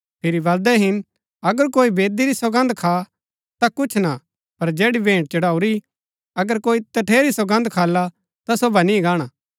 फिरी बलदै हिन अगर कोई बेदी री सौगन्द खा ता कुछ ना पर जैड़ी भेंट चढ़ाऊरी अगर कोई तठेरी सौगन्द खाला ता सो बनी गाणा